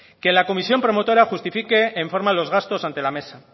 que la comisión promotora justifique en forma los gastos ante la mesa